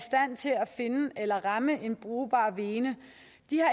finde eller ramme en brugbar vene